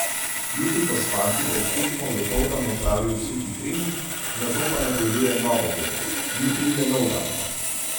Jutri bo s fanti pred tekmo dopoldan opravil suhi trening, nato pa napoveduje novo borbo: "Jutri je nov dan.